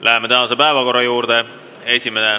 Läheme tänase päevakorra juurde.